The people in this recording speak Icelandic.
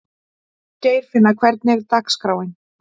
Geirfinna, hvernig er dagskráin?